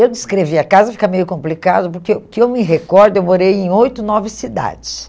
Eu descrever a casa fica meio complicado, porque o que eu me recordo, eu morei em oito, nove cidades.